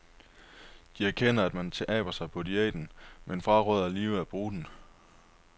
De erkender, at man taber sig på diæten, men fraråder alligevel at bruge den.